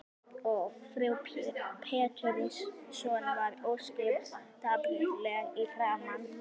Og frú Pettersson varð ósköp dapurleg í framan.